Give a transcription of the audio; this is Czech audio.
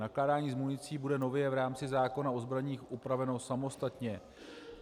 Nakládání s municí bude nově v rámci zákona o zbraních upraveno samostatně.